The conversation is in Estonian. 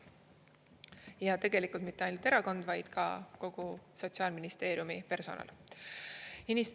Ja tegelikult mitte ainult erakond, vaid ka kogu Sotsiaalministeeriumi personal.